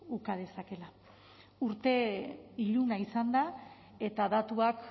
uka dezakeela urte iluna izan da eta datuak